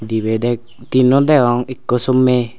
debe dek tinno degong ekko somei.